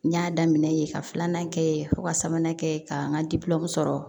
N y'a daminɛ yen ka filanan kɛ yen fo ka sabanan kɛ ka n ka sɔrɔ